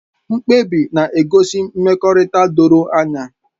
Mkpebi na-egosi mmekọrịta doro anya